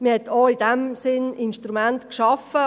Man hat in diesem Sinn auch Instrumente geschaffen.